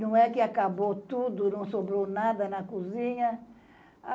Não é que acabou tudo, não sobrou nada na cozinha.